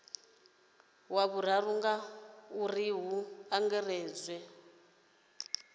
wa vhuraru ngauri hu angaredzwa